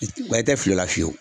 Wa i tɛ fili o la fiyewu